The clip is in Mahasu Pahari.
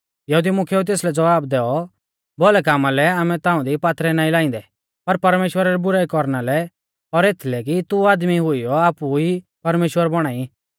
यहुदी मुख्येउऐ तेसलै ज़वाब दैऔ भौलै कामा लै आमै ताऊं दी पात्थरै नाईं लाइंदै पर परमेश्‍वरा री बुराई कौरना लै और एथलै कि तू आदमी हुईयौ आपु ई परमेश्‍वर बौणा ई